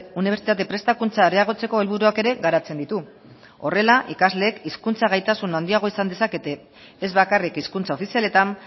unibertsitate prestakuntza areagotzeko helburuak ere garatzen ditu horrela ikasleek hizkuntza gaitasun handiagoa izan dezakete ez bakarrik hizkuntza ofizialetan